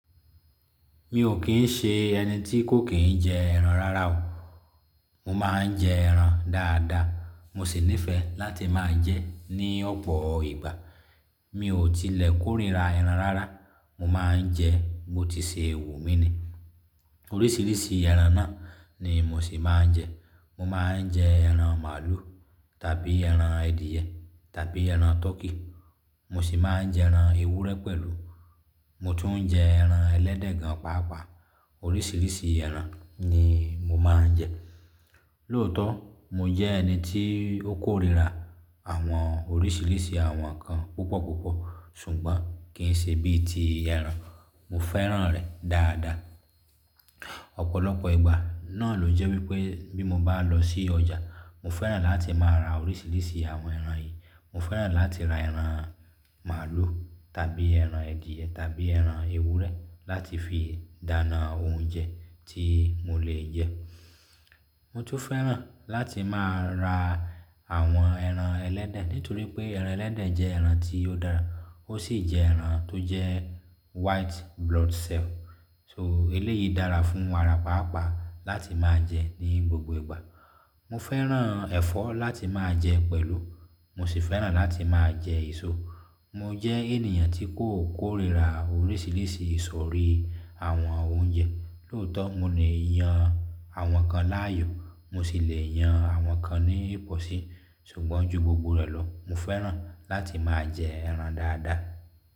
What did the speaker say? Mi ò kín ń ṣe ẹni tí kò kín ń jẹ ẹran rara o. Mo máa ń jẹ ẹran dáadáa, mo sì nífẹ̀ẹ́ láti máa jẹ ẹ́ ní ọ̀pọ̀ ìgbà. Mi ò tilẹ̀ kórìíra ẹran rara. Mo máa ń jẹ ẹ́, bo ti ṣe wu mi ni. Oríṣiríṣi ẹran náà ni mo sì máa ń jẹ. Mo máa ń jẹ ẹran màálù tàbí ẹran adìẹ tàbí ẹran tọkí. Mo sì máa ń jẹ ẹran ewúrẹ́ pẹ̀lú. Mo tún n jẹ ẹran ẹlẹ́dẹ̀ gan páápàá. Oríṣiríṣi ẹran ni mo máa ń jẹ. Lóòótọ́, mo jẹ́ ẹni tí ó kórìíra àwọn oríṣiríṣi àwọn nǹkan púpọ̀púpọ̀, ṣùgbọ́n kì í ṣe bí i ti ẹran. Mo fẹ́ràn rẹ̀ dáadáa. Ọ̀pọ̀lọpọ̀ ìgbà náà ló jẹ́ wípé bí mo bá lọ sí ọjà, mo fẹ́ràn láti máa ra oríṣiríṣi àwọn ẹran yìí. Mo fẹ́ràn láti ra ẹran màálù tàbí ẹran adìẹ tàbí ẹran ewúrẹ́ láti fi dáná oúnjẹ tí mo lè jẹ. Mo tún fẹ́ràn láti máa ra àwọn ẹran ẹlẹ́dẹ̀ nítorí pé ẹran ẹlẹ́dẹ̀ jẹ́ ẹran tí ó dára, ó sì jẹ́ ẹran tó jẹ́ white blood cell. So eléyìí dára fún ara pàápàá láti máa jẹ ní gbogbo ìgbà. Mo fẹ́ràn ẹ̀fọ́ láti máa jẹ pẹ̀lú. Mo sì fẹ́ràn láti máa jẹ èso. Mo jẹ́ ènìyàn tí kò kórìíra oríṣiríṣi ìsọ̀rí àwọn oúnjẹ. Lóòótọ́, mo le yan àwọn kan láàyò, mo sì le yan àwọn kan ní ìpọ̀sí ṣùgbọ́n ju gbogbo rẹ̀ lọ, mo fẹ́ràn láti máa jẹ ẹran dáadáa.